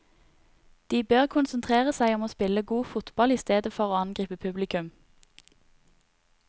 De bør konsentrere seg om å spille god fotball i stedet for å angripe publikum.